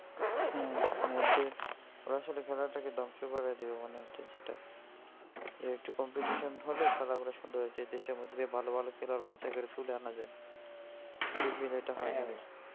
হ্যাঁ বলতে ওরা আসলে খেলাটাকে ধ্বংস করাই দেবে মনে হচ্ছে যেটা. একটু competition হলেই খেলা গুলা সুন্দর হয়ে যায় দেশের মধ্যে ভালো ভালো খেলোয়াড় বাছাই করে তুলে আনা যায় .